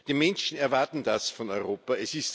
Die Menschen erwarten das von Europa.